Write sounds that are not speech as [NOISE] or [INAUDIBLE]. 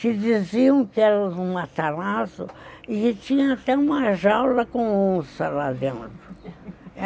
Te diziam que era um [UNINTELLIGIBLE] e tinha até uma jaula com onça lá dentro [LAUGHS]